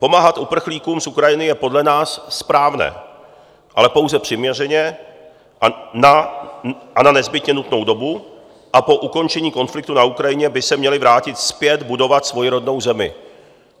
Pomáhat uprchlíkům z Ukrajiny je podle nás správné, ale pouze přiměřeně a na nezbytně nutnou dobu a po ukončení konfliktu na Ukrajině by se měli vrátit zpět budovat svoji rodnou zemi.